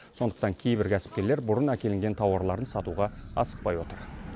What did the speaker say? сондықтан кейбір кәсіпкерлер бұрын әкелінген тауарларын сатуға асықпай отыр